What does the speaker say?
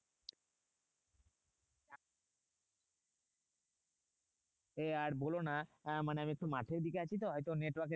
এ আর বলোনা মানে আমি একটু মাঠের দিকে আছি তো হয়তো network